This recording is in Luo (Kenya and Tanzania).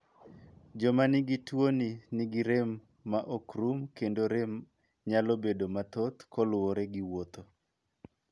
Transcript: Joma nigi tuoni ni gi rem ma ok rum kendo rem nyalo bedo matrhoth kaluwore gi wuotho.